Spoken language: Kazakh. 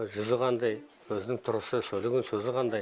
жүзі қандай өзінің тұрысы сөйлеген сөзі қандай